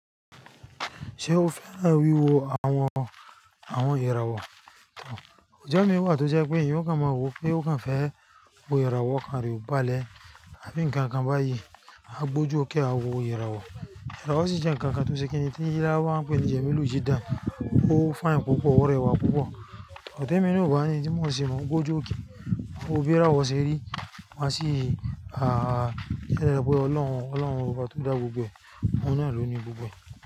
Ṣé o fẹ́ra wiwo àwọn, àwọn ìràwọ̀? Òójọ́ mi wà tó jẹ́ pé èèyàn ó kan máa wò pé ó kan fẹ́ wo ìràwọ̀ kan rí balẹ̀, àbí nǹkan kan báyìí á gbójú ókéré àwọn ìràwọ̀. Ìràwọ̀ sì jẹ́ nǹkan kan tó ṣe kí ẹni tí yára wá pẹ́ níjẹ̀ mélòó jí dán, ó fine púpọ̀, ó rẹwà púpọ̀. Òótọ́ mi ni ò bá ni tí wọn ó ṣe máa gbójú ókéré, wọ́n ó bẹ ràwọ̀ ṣe rí, wọ́n á sì, à, ṣẹlẹ wípé Ọlọ́run, Ọlọ́run wa tó dá gbogbo ẹni, òun náà ló ní gbogbo ẹ̀.